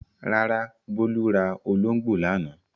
Rárá, Bólú ra olóńgbò lánàá.